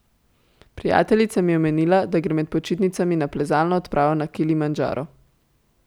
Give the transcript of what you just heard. Prijateljica mi je omenila, da gre med počitnicami na plezalno odpravo na Kilimandžaro.